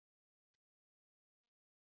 Þú varst þannig.